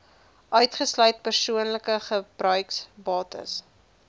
uitgesluit persoonlike gebruiksbates